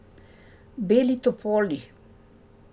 Beli topoli.